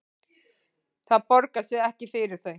Það borgar sig ekki fyrir þau